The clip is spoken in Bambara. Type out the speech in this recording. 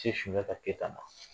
Sunjata Keta ma.